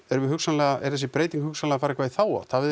erum við hugsanlega er þessi breyting hugsanlega að fara eitthvað í þá átt hafið